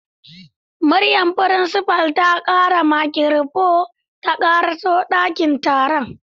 Muryar principal ta kara da makirufo ta karaso dakin taron.